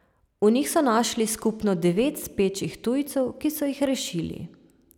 V njih so našli skupno devet spečih tujcev, ki so jih rešili.